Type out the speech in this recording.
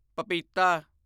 ਪਪੀਤਾ